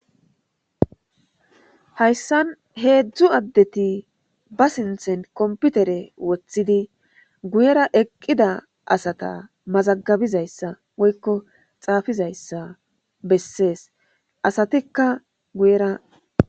Hayssan heedzdzu addeti ba sinthen komputere woththidi guyera eqqida asata mazagabizayssa woykko xaafizayssa bessees.asatikka guyera..